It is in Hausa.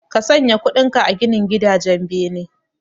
Ka sanya kudinka a ginin gidajen bene